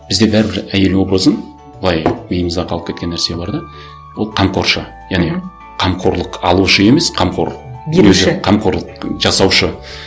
бізде бәрібір әйел образын былай миымызда қалып кеткен нәрсе бар да ол қамқоршы яғни қамқорлық алушы емес қамқор беруші қамқорлық жасаушы